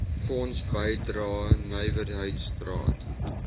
fonds bydrae nywerheidsraad